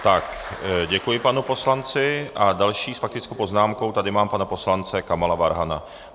Tak děkuji panu poslanci a dalšího s faktickou poznámkou tady mám pana poslance Kamala Farhana.